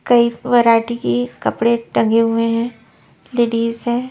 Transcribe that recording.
कई वैरायटी की कपड़े टंगे हुए हैं लेडीज है।